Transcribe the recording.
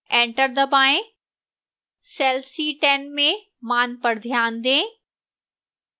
enter दबाएं cell c10 में मान पर ध्यान दें